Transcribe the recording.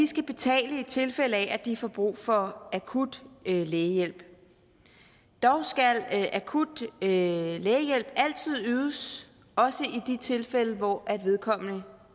skal betale i tilfælde af at de får brug for akut lægehjælp dog skal akut lægehjælp altid ydes også i de tilfælde hvor vedkommende